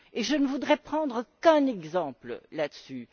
Et je ne voudrais prendre qu'un exemple là dessus.